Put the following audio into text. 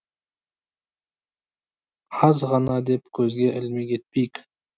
аз ғана деп көзге ілмей кетпейік